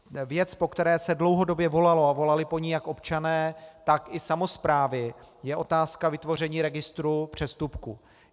Věc, po které se dlouhodobě volalo, a volali po ní jak občané tak i samosprávy, je otázka vytvoření registru přestupků.